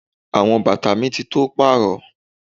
Àwọn bàtà mi ti tó pàrọ.